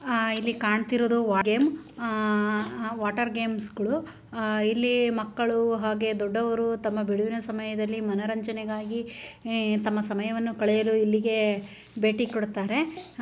ಆ ಇಲ್ಲಿ ಕಾಣ್ತಿರೋದು ವಾ ಗೇಮ್ ಆ ವಾಟರ್ ಗೇಮ್ಸ್ ಗಳು. ಆ ಇಲ್ಲಿ ಮಕ್ಕಳು ಹಾಗೆ ದೊಡ್ಡವರು ತಮ್ಮ ಬಿಡುವಿನ ಸಮಯದಲ್ಲಿ ಮನರಂಜನೆಗಾಗಿ ಏ ತಮ್ಮ ಸಮಯವನ್ನು ಕಳೆಯಲು ಇಲ್ಲಿಗೆ ಭೇಟಿ ಕೊಡುತ್ತಾರೆ.